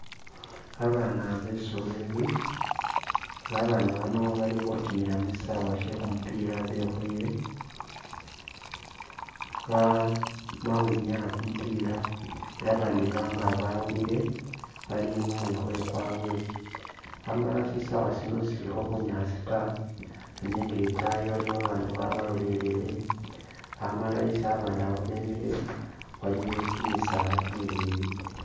Ba bana besoleli nga ba bana bano bali khutimila mu sisawe shekumupila bekhoyele, bamakhwinyaya kumupila ela ba bandi banga bawulile bali mumwikhoyo kwabwe, amala shisawe sino sisilikho bunyaasi ta nenga itayi waliyo ba bandu ba baloleleye amala isi ba bandu bano bemile waliyo kyimisaala kyimileyi.